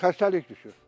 Xəstəlik düşüb.